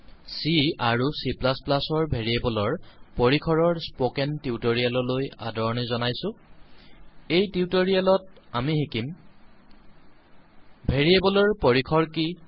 C আৰু Cৰ ভেৰিয়েবলৰপৰিসৰৰ স্পকেন টিউটৰিয়েললৈ আদৰণি জনাইছো এই টিউটৰিয়েলত আমি শিকিম ভেৰিয়েবলৰ পৰিসৰ কি